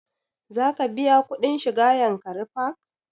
Za ka biya kuɗin shiga yankari park?